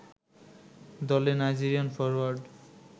দলের Nigerian forward